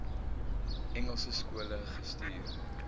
engelse skole gestuur